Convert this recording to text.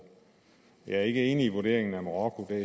jeg er ikke enig i vurderingen af marokko der